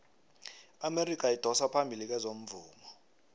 iamerika idosa phambili kezomvumo